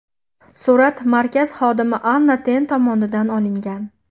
Surat markaz xodimi Anna Ten tomonidan olingan.